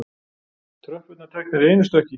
Tröppurnar teknar í einu stökki.